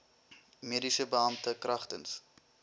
mediese beampte kragtens